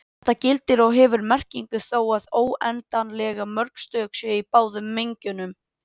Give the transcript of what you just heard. Þetta gildir og hefur merkingu þó að óendanlega mörg stök séu í báðum mengjunum.